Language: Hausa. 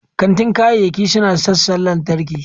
Kantin kayayyaki suna da sassan lantarki.